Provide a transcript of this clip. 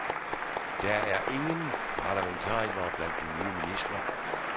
Der er ingen parlamentarikere blandt de nye ministre.